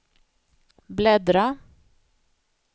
bläddra